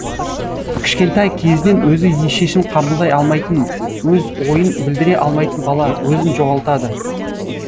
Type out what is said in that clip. кішкентай кезінен өзі шешім қабылдай алмайтын өз ойын білдіре алмайтын бала өзін жоғалтады